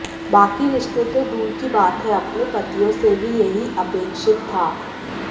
बाकी रिश्ते तो दूर की बात है अपने पतियों से भी यही अपेक्षित था